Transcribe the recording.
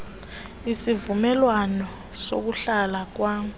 isivumelwano sokuhlala kwam